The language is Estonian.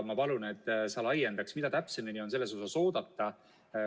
Ma palun, et sa laiendaksid, mida täpsemini on selles osas oodata.